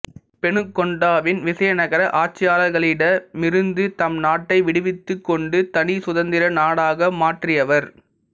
பெனுகொண்டாவின் விசயநகர ஆட்சியாளர்களிடமிருந்து தம்நாட்டை விடுவித்துக் கொண்டு தனி சுதந்திர நாடாக மாற்றியவர்